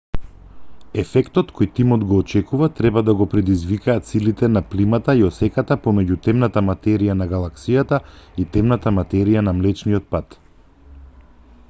ефектот кој тимот го очекува треба да го предизвикаат силите на плимата и осеката помеѓу темната материја на галаксијата и темната материја на млечниот пат